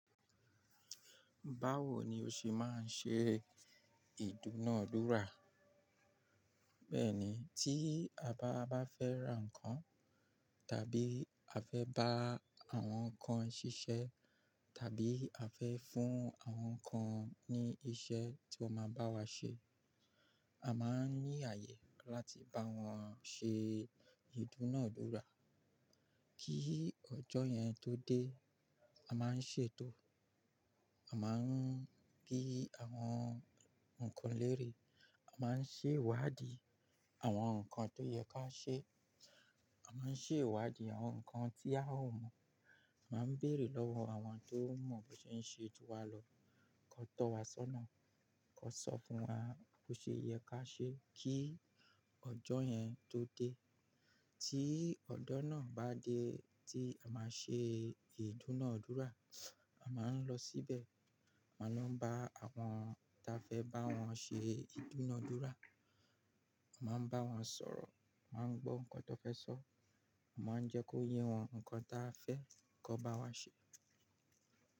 Báwo ni o ṣe máa ń ṣe ìdúnadúrà? Bẹ́ẹ̀ni, tí à bá fẹ́ ra ǹkan tàbí à fẹ́ bá àwọn kan ṣiṣẹ́ tàbí à fẹ́ fún àwọn kan ní iṣẹ́ tí wọ́n máa bá wa ṣe, a máa ń ní àyè láti bá wọn ṣe ìdúnadúrà. Kí ọjọ́ yẹn tó dé, a máa ń ṣètò, a máa ń kí àwọn ǹkan lérè, a máa ń ṣèwádìí àwọn ǹkan tó yẹ ká ṣe, a máa ń ṣè iwádìí àwọn ǹkan tí a ò mọ̀, a máa ń bèèrè lọ́wọ́ àwọn tó mọ̀ bó ṣe ń ṣe ju wa lọ, kó tọ́ wa sọ́nà, kó sọ fún wa bó ṣe yẹ ká ṣe kí ọjọ́ yẹn tó dé. Tí ọjọ́ náà bá dé tí a máa ṣe ìdúnadúrà, a máa ń lọ síbẹ̀, a máa ń bá àwọn ta fẹ́ bá wọn ṣe ìdúnadúrà, a máa ń bá wọn sọ̀rọ̀, a máa ń gbọ́ ǹkan tó fẹ́ sọ, a máa ń jẹ́ kó yé wọn ǹkan ta fẹ́ kó bá wa ṣe.